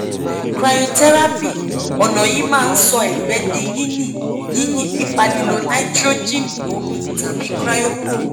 cryotherapy ọ̀nà yìí máa ń sọ ẹ̀gbẹ́ di yìnyín yìnyín nípa lílo nítróẹ̀jẹ̀nì omi tàbí cryoprobe